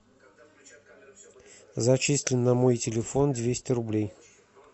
зачисли на мой телефон двести рублей